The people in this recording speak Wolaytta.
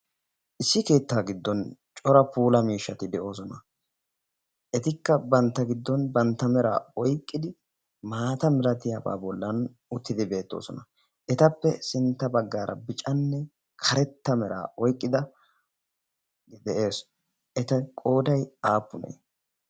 issi keettaa giddon cora puula miishshati de'oosona etikka bantta giddon bantta meraa oyqqidi maata miratiyaabaa bollan uttidi beettoosona etappe sintta baggaara bicanne karetta meraa oyqqida de'ees eta qooday aappunee